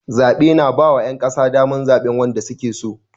Zaɓe na ba wa ƴan ƙasa daman zaɓan wanda suke so